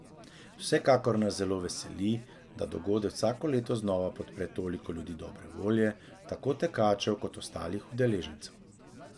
Vsekakor nas zelo veseli, da dogodek vsako leto znova podpre toliko ljudi dobre volje, tako tekačev kot ostalih udeležencev.